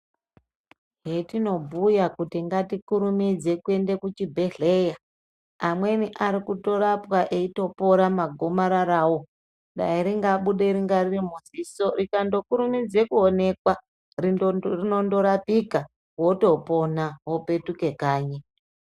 Hetinobhuya kuti ngatikurumidze kuenda kuchibhedhlera, amweni arikutorapwa itopora magomararawo. Ringadayi rabuda ririmuziso rikandokurumidza kuonekwa rinondorapika wotopona wopetuka kanyi.